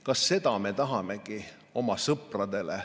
Kas seda me tahamegi oma sõpradele?